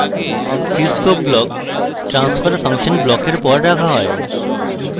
cscope block transfer function ব্লকের পর রাখা হয়